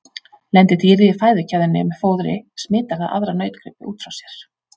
Lendi dýrið í fæðukeðjunni með fóðri smitar það aðra nautgripi út frá sér.